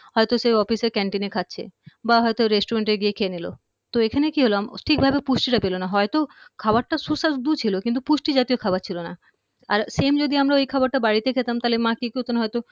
হয়তো সে office এ canteen এ খাচ্ছে বা হয়তো Resturant এ গিয়ে খেয়ে নিলো তো এখানে কি হল হম ঠিকভাবে পুষ্টিটা পেলো না হয়তো খাবারটা সুস্বাদু ছিল কিন্তু পুষ্টি জাতীয় খাবার ছিল না আর same যদি ঐ খাবারটা আমরা বাড়িতে খেতাম তাইলে মা কি করতেন হয়তো